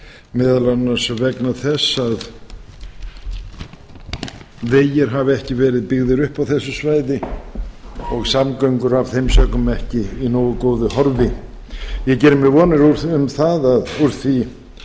meðal annars vegna þess að vegir hafa ekki verið byggðir upp á þessu svæði og samgöngur af þeim sökum ekki í nógu góðu horfi ég geri mér vonir um það að úr því